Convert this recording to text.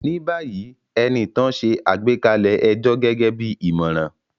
Ní báyìí, Enitan ṣe àgbékalẹ̀ ẹjọ́ gẹ́gẹ́ bí ìmọ̀ràn